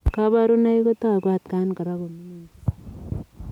Kaparunoik kotaguun atkaan koraa komining chii .